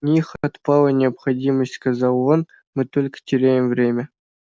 в них отпала необходимость сказал он мы только теряем время